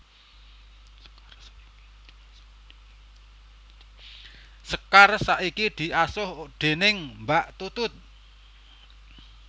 Sekar saiki diasuh déning Mbak Tutut